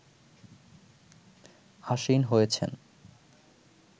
আসীন হয়েছেন